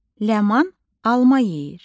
Ləman alma yeyir.